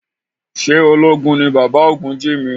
Ṣé ológun ní bàbá Ògúnjìmí?